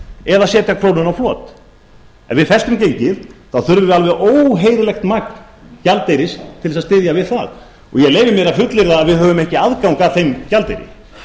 eða setja krónuna á flot ef við festum gengið þá þurfum við alveg óheyrilegt magn gjaldeyris til að styðja við það og ég leyfi mér að fullyrða að við höfum ekki aðgang að þeim gjaldeyri